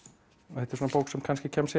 og þetta er svona bók sem kannski kemst